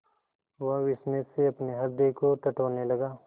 वह विस्मय से अपने हृदय को टटोलने लगा